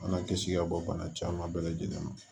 An ka kisi ka bɔ bana caman bɛɛ lajɛlen ma